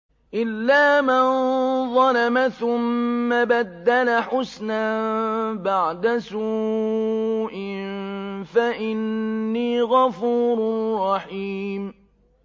إِلَّا مَن ظَلَمَ ثُمَّ بَدَّلَ حُسْنًا بَعْدَ سُوءٍ فَإِنِّي غَفُورٌ رَّحِيمٌ